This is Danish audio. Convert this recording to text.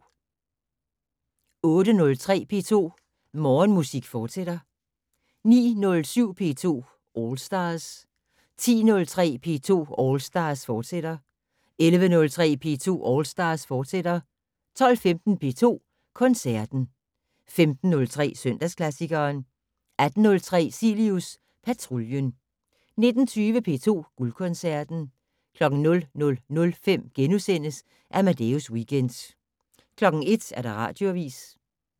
08:03: P2 Morgenmusik, fortsat 09:07: P2 All Stars 10:03: P2 All Stars, fortsat 11:03: P2 All Stars, fortsat 12:15: P2 Koncerten 15:03: Søndagsklassikeren 18:03: Cilius Patruljen 19:20: P2 Guldkoncerten 00:05: Amadeus Weekend * 01:00: Radioavis